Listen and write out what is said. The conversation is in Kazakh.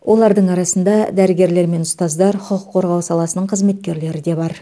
олардың арасында дәрігерлер мен ұстаздар құқық қорғау саласының қызметкерлері де бар